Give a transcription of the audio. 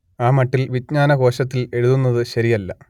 ആ മട്ടിൽ വിജ്ഞാനകോശത്തിൽ എഴുതുന്നത് ശരിയല്ല